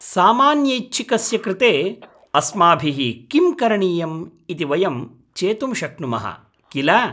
सामान्यैच्छिकस्य कृते अस्माभिः किं करणीयम्‌ इति वयं चेतुं शक्नुमः, किल?